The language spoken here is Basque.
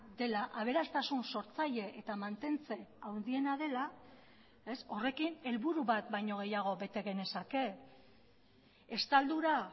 dela aberastasun sortzaile eta mantentze handiena dela horrekin helburu bat baino gehiago bete genezake estaldura